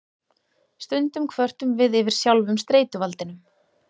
Stundum kvörtum við yfir sjálfum streituvaldinum.